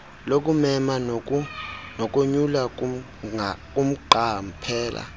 lokumema nokonyula kumqaphela